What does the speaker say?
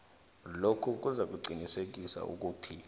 lokhu kuzakuqinisekisa bona